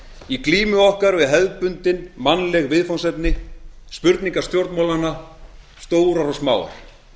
í glímu okkar við hefðbundin mannleg viðfangsefni spurningar stjórnmálanna stórar og smáar